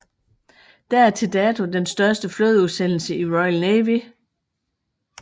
Det er til dato den største flådeudsendelse i Royal Navy